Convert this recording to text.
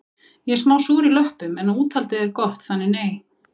Ég er smá súr í löppum en úthaldið er gott þannig nei